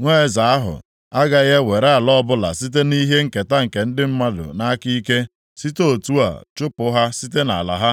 Nwa eze ahụ agaghị ewere ala ọbụla site nʼihe nketa ndị mmadụ nʼaka ike, si otu a chụpụ ha site nʼala ha.